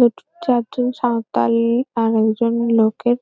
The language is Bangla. দুটো চার জন সাঁওতাল আর একজন লোকের --